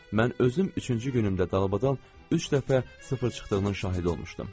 Mən özüm üçüncü günündə dalbadal üç dəfə sıfır çıxdığının şahidi olmuşdum.